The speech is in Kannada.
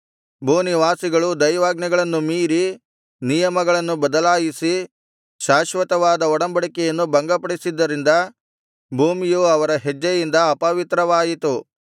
ಭೂನಿವಾಸಿಗಳು ದೈವಾಜ್ಞೆಗಳನ್ನು ಮೀರಿ ನಿಯಮಗಳನ್ನು ಬದಲಾಯಿಸಿ ಶಾಶ್ವತವಾದ ಒಡಂಬಡಿಕೆಯನ್ನು ಭಂಗಪಡಿಸಿದ್ದರಿಂದ ಭೂಮಿಯು ಅವರ ಹೆಜ್ಜೆಯಿಂದ ಅಪವಿತ್ರವಾಯಿತು